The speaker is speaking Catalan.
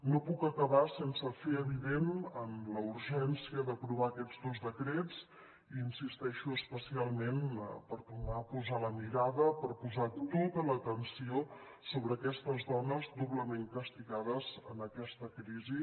no puc acabar sense fer evident la urgència d’aprovar aquests dos decrets i hi insisteixo especialment per tornar a posar la mirada per posar tota l’atenció sobre aquestes dones doblement castigades en aquesta crisi